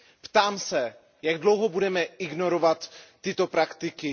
Ptám se, jak dlouho budeme ignorovat tyto praktiky?